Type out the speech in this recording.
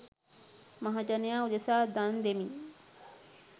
මහජනයා උදෙසා දන් දෙමි.